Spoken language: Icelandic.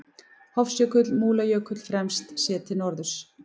Hofsjökull, Múlajökull fremst, séð til norðurs.